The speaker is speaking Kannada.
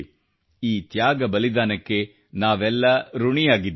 ಈ ತ್ಯಾಗಬಲಿದಾನಕ್ಕೆ ಹುತಾತ್ಮತೆಗೆ ನಾವೆಲ್ಲ ಋಣಿಯಾಗಿದ್ದೇವೆ